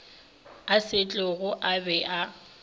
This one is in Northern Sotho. a setlogo a be a